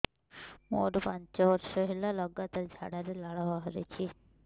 ମୋରୋ ପାଞ୍ଚ ବର୍ଷ ହେଲା ଲଗାତାର ଝାଡ଼ାରେ ଲାଳ ବାହାରୁଚି